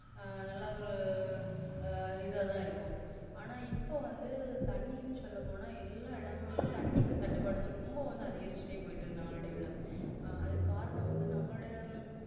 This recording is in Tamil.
ஆஹ் நல்ல ஒரு அஹ் இதான்இருக்கும் ஆனா இப்போ வந்து தண்ணின்னு சொல்ல போன்னாஎல்லா எடமும் தண்ணிக்கு தட்டுப்பாடு வந்து ரொம்ப அதிகரிச்சு போயிட்டே இருக்குது நாள் அடைவ அஹ் அதுக்கு காரணம் வந்து நம்மளுடைய